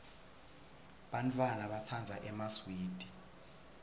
bantfwana batsandza emaswidi